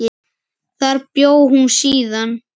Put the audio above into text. Þar bjó hún síðan.